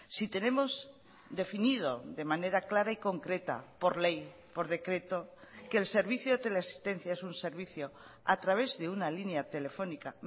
si tenemos definido de manera clara y concreta por ley por decreto que el servicio de teleasistencia es un servicio a través de una línea telefónica